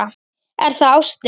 Er það ástin?